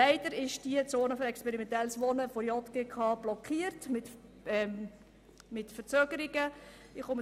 Leider wird die «Zone für experimentelle Wohnformen» von der JGK mit Verzögerungen blockiert.